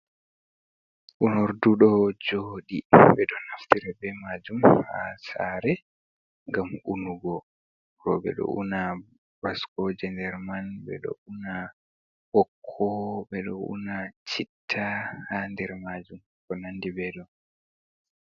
Unordu ɗo joɗi, ɓe ɗo naftira be majum haa saare ngam unugo. Rowɓe ɗo una baskoje der man, ɓe ɗo una ɓokko, ɓe ɗo una citta ha nder majum, ko nandi ɓe ɗo.